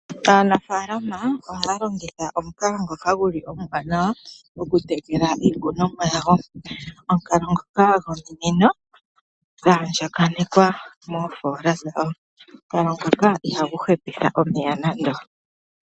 Aanafaalama ohaya longitha omukalo ngoka omuwanawa okutekela iikonomwa yawo. Omukalo ngoka gominino dha andjaganekwa moofoola dhawo. Omukalo ngoka ihagu hepitha omeya nando.